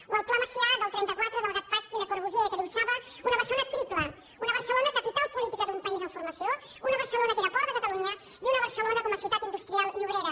o el pla macià del trenta quatre del gatcpac i le corbusier que dibuixava una barcelona triple una barcelona capital política d’un país en formació una barcelona que era port de catalunya i una barcelona com a ciutat industrial i obrera